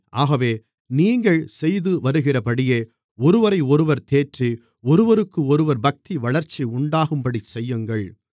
ஆகவே நீங்கள் செய்துவருகிறபடியே ஒருவரையொருவர் தேற்றி ஒருவருக்கொருவர் பக்திவளர்ச்சி உண்டாகும்படிச் செய்யுங்கள்